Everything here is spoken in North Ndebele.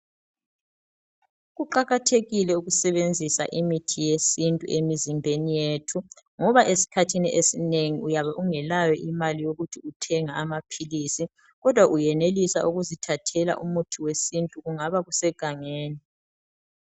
Kuqakathekile ukusebenzisa imithi yesintu emizimbeni yethu ngoba esikhathini esinengi uyabe ungelayo imali yokuthi uthenge amaphilisi kodwa uyenelisa ukuzithathela umuthi wesintu kungaba kusegangeni .